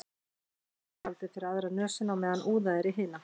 Næst er haldið fyrir aðra nösina á meðan úðað er í hina.